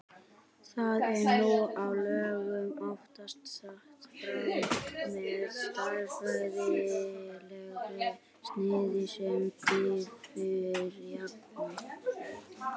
Það er nú á dögum oftast sett fram með stærðfræðilegu sniði sem diffurjafna.